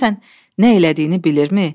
Görəsən nə elədiyini bilirmi?